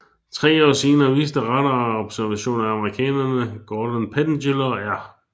Tre år senere viste radarobservationer af amerikanerne Gordon Pettengill og R